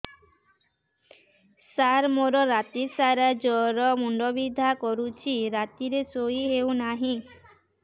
ସାର ମୋର ରାତି ସାରା ଜ୍ଵର ମୁଣ୍ଡ ବିନ୍ଧା କରୁଛି ରାତିରେ ଶୋଇ ହେଉ ନାହିଁ